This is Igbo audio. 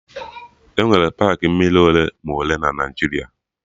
Enwere paakị mmiri ole ma ole na Naijiria